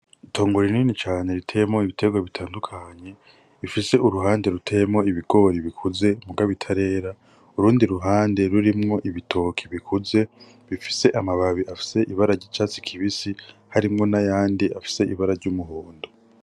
Itongo rinini cane riteyemwo ibitegwa bitandukanye, rifise uruhande ruteyemwo ibigori bikuze muga bitarera urundi ruhande rurimwo ibitoki bikuze bifise amababi afise ibara ry'icatsi kibisi harimwo n'ayandi afise ibara ry'umuhondo.